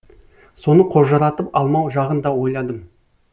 соны қожыратып алмау жағын да ойладым